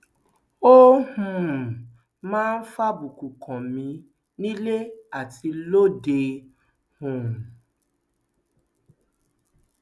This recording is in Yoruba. ó um máa ń fàbùkù kàn mí nílé àti lóde um